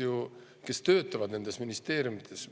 Inimesed, kes töötavad nendes ministeeriumides